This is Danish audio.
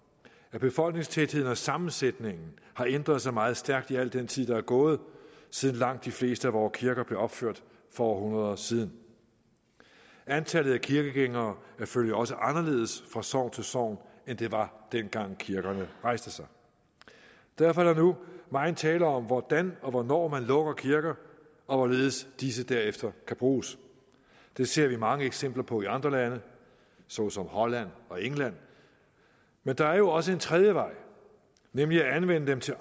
at befolkningstætheden og sammensætningen har ændret sig meget stærkt i al den tid der er gået siden langt de fleste af vore kirker blev opført for århundreder siden antallet af kirkegængere selvfølgelig også anderledes fra sogn til sogn end det var dengang kirkerne rejstes derfor er der nu megen tale om hvordan og hvornår man lukker kirker og hvorledes disse derefter kan bruges det ser vi mange eksempler på i andre lande såsom holland og england men der er jo også en tredje vej nemlig at anvende dem til